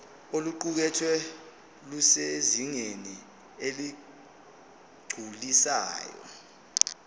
oluqukethwe lusezingeni eligculisayo